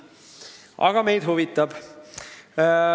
Aga meid huvitab.